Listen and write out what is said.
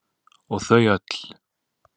Og þau öll.